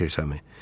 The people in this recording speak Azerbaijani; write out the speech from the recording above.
Saltersəmi?